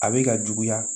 A bɛ ka juguya